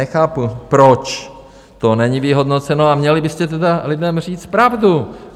Nechápu, proč to není vyhodnoceno, a měli byste tedy lidem říct pravdu.